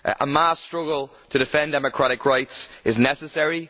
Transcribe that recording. A mass struggle to defend democratic rights is necessary.